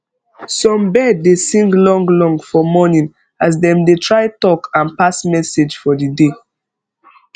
some bird dey sing long long for morning as dem dey try talk and pass message for the day